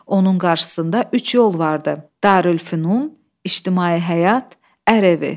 Onun qarşısında üç yol vardı: Darülfünun, ictimai həyat, ər evi.